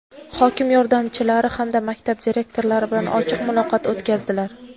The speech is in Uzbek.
hokim yordamchilari hamda maktab direktorlari bilan ochiq muloqot o‘tkazdilar.